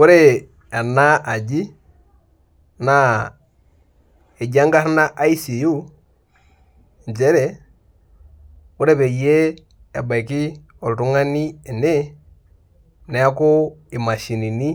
Ore ena aji na ejibenkarna icu njere ore peyie ebaki oltungani ene neaku imashinini